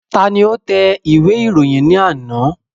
Ta ni ó tẹ ìwé ìròyìn ní àná?